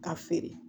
Ka feere